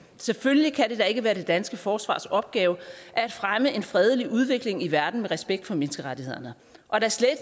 selvfølgelig kan det da ikke være det danske forsvars opgave at fremme en fredelig udvikling i verden med respekt for menneskerettighederne og da slet